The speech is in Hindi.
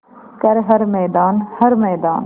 कर हर मैदान हर मैदान